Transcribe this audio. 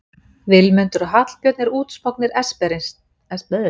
Vilmundur og Hallbjörn eru útsmognir esperantistar